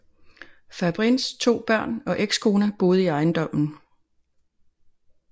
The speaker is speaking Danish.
Fabrins to børn og ekskone boede i ejendommen